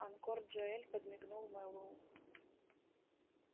анкор джаэль подмигнул мэллоу